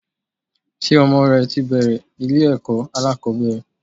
Ṣé ọmọ rẹ ti bẹ̀ẹ̀rẹ̀ ilé ẹ̀kọ́ alákọ̀ọ́bẹ̀rẹ̀?